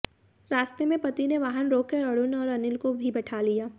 रास्ते में पति ने वाहन रोककर अरुण व अनिल को भी बैठा लिया